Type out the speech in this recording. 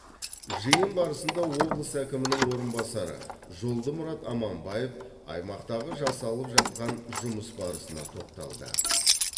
жиын барысында облыс әкімінің орынбасары жолдымұрат аманбаев аймақтағы жасалып жатқан жұмыс барысына тоқталды